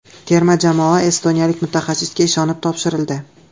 Terma jamoa estoniyalik mutaxassisga ishonib topshirildi.